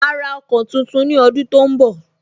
Ma ra ọkọ̀ tuntun ni ọdun tó ń bọ̀